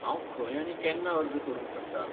हांव खंय आनी केन्ना अर्ज करूंक शकतां?